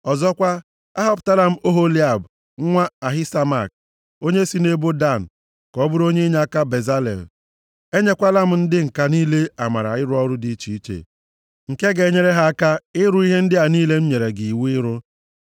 Ọzọkwa, ahọpụtala m Oholiab, nwa Ahisamak, onye si nʼebo Dan, ka ọ bụrụ onye inyeaka Bezalel. “Enyekwala m ndị ǹka niile amara ịrụ ọrụ dị iche, nke ga-enyere ha aka ịrụ ihe ndị a niile m nyere gị iwu ịrụ: